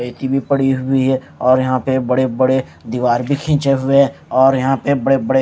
रेती भी पड़ी हुई हैं और यहाँ पे बड़े-बड़े दीवार भी खींचे हुए हैं और यहाँ पे बड़े-बड़े --